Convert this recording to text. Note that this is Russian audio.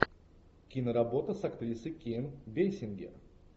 киноработа с актрисой ким бейсингер